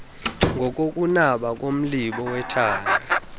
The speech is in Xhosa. ngokokunaba komlibo wethanga